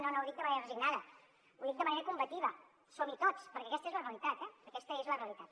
no no ho dic de manera resignada ho dic de manera combativa som hi tots perquè aquesta és la realitat aquesta és la realitat